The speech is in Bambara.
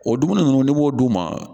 O dumuni ninnu b'o d'u ma